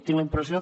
tinc la impressió